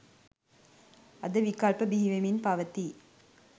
අද විකල්ප බිහිවෙමින් පවතී